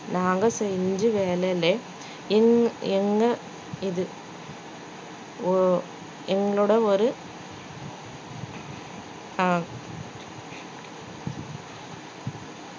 நாங்க செஞ்ச வேலையிலே என்~ எங்க இது ஓ~ எங்களோட ஒரு ஆ~